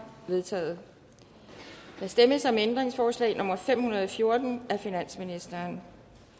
vedtaget der stemmes om ændringsforslag nummer fem hundrede og fjorten af finansministeren